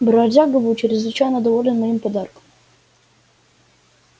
бродяга был чрезвычайно доволен моим подарком